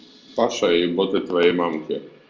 павшая и боты твоей мамки